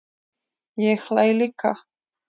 Ég hlæ líka.